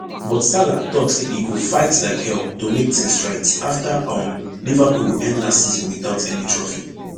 but salah tok say e go fight like hell to make tins right afta um liverpool end last season witout any trophy